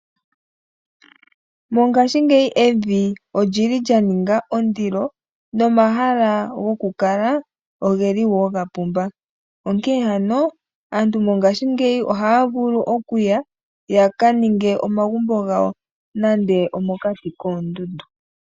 Mongaashingeyi evi olyili lya ninga ondilo nomahala gokukala ogeli wo gapumba. Onkee ano aantu mongaashingeyi ohaa vulu okuya, yaka ninge omagumbo gawo nande omokati koondundu.